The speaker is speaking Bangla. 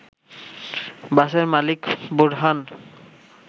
বাসের মালিক বোরহান